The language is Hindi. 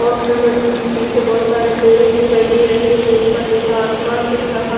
मशीन के पीछे बोहोत सारे पेडे दिखाई दे रहे है ऊपर नीला आसमान दिख रहा--